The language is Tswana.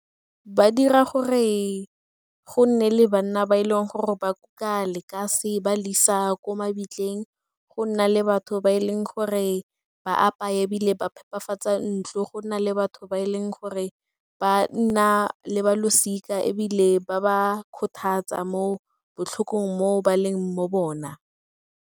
Ba dira gore go nne le banna ba e leng gore ba kuka lekase ba le isa ko mabitleng, go nna le batho ba e leng gore ba apaye ebile ba phepafatsa ntlo, go na le batho ba e leng gore ba nna le balosika ebile ba ba kgothatsa mo botlhokong mo ba leng mo bona.